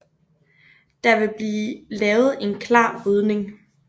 Der vil blive lavet en klar rydning